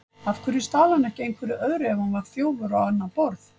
Af hverju stal hann ekki einhverju öðru ef hann var þjófur á annað borð?